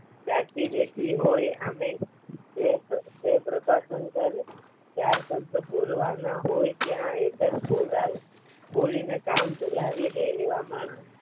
જાગથી બેઠી હોય અને તો પ્રભાશંકર ચાર શબ્દ બોલવા ના હોય ત્યાં એક જ બોલીને કામ ચલાવી લે એવા માણસ